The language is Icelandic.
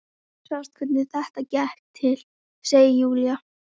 Þú sást hvernig þetta gekk til, segir Júlía.